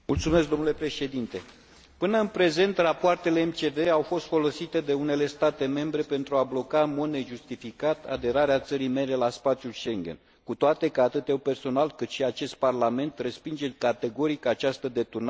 Până în prezent, rapoartele MCV au fost folosite de unele state membre pentru a bloca, în mod nejustificat, aderarea țării mele la spațiul Schengen, cu toate că atât eu, personal, cât și acest Parlament, respingem categoric această deturnare politică a MCV ului.